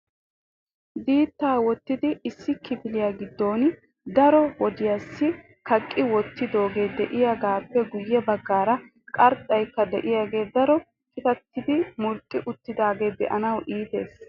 Diittaa woottidi issi kifiliyaa giddon daro wodiyassi kaqqi wottidooge de'iyaagappe guyye baggaara qarxxaykka de'iyaagee daro qitattidi murxxuxi uttiidaage be'anaw iittees.